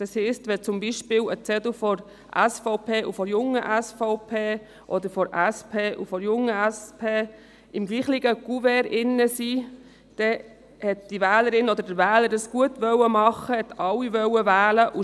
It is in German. Befinden sich zum Beispiel ein Zettel der SVP und einer der Jungen SVP im Kuvert, oder ein Zettel von der SP und einer von der Jungen SP, dann heisst dies, dass es die Wählerin oder der Wähler richtig machen und alle wählen wollte.